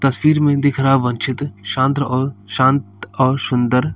तस्वीर में दिख रहा वन चित्र शानत्र और शांत और सुंदर --